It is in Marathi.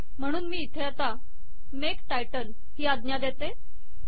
म्हणून मी आता इथे मेक टायटल ही आज्ञा देते